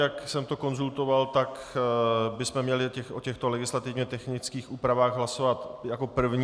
Jak jsem to konzultoval, tak bychom měli o těchto legislativně technických úpravách hlasovat jako první.